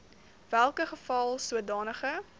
welke geval sodanige